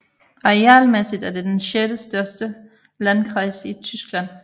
Arealmæssigt er det den sjettestørste landkreis i Tyskland